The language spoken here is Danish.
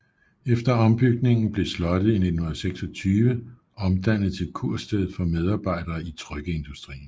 Efter ombygningen blev slottet i 1926 omdannet til kursted for medarbejdere i trykkeindustrien